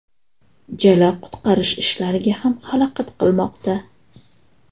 Jala qutqarish ishlariga ham xalaqit qilmoqda.